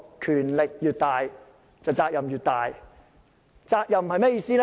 權力越大，責任越大，責任是甚麼意思？